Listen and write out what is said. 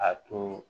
A tun